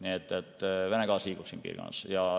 Nii et Vene gaas liigub siin piirkonnas.